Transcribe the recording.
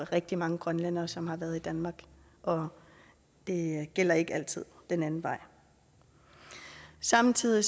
rigtig mange grønlændere som har været i danmark og det gælder ikke altid den anden vej samtidig